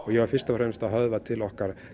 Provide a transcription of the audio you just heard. ég var fyrst og fremst að höfða til okkar